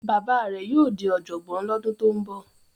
Bàbá rẹ̀ yóò di ọ̀jọ̀gbọ́n lọ́dún tó ń bọ̀.